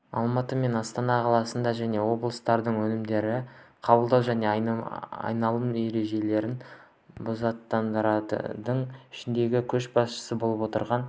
алматы мен астана қалалары және облыстарда өнімдерді қабылдау және айналым ережелерін бұзатындардың ішіндегі көшбасшы болып отырған